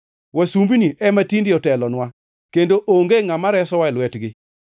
Wasumbini ema tinde otelonwa, kendo onge ngʼama resowa e lwetgi.